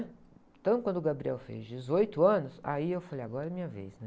Então, quando o Gabriel fez dezoito anos, aí eu falei, agora é minha vez, né?